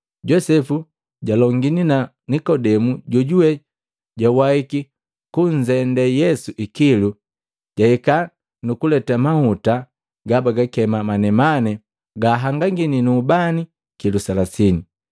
Josepu jalongini na Nikodemu jojuwe jawahiki kunzende Yesu ikilu, jahika nukuleta mahuta gabagakema manemane gahangangini nu ubani kilu selasini.